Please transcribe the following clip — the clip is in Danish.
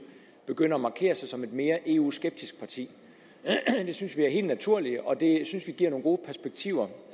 begynder at markere sig som et mere eu skeptisk parti det synes vi er helt naturligt og det synes vi giver nogle gode perspektiver